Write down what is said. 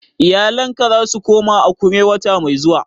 Iyalinka za su koma Akure wata mai zuwa?